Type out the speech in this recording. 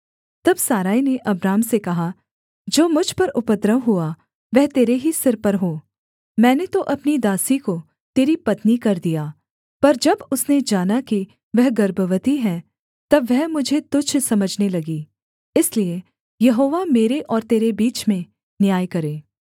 तब सारै ने अब्राम से कहा जो मुझ पर उपद्रव हुआ वह तेरे ही सिर पर हो मैंने तो अपनी दासी को तेरी पत्नी कर दिया पर जब उसने जाना कि वह गर्भवती है तब वह मुझे तुच्छ समझने लगी इसलिए यहोवा मेरे और तेरे बीच में न्याय करे